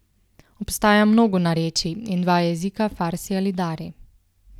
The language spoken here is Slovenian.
Obstaja mnogo narečij in dva jezika farsi ali dari.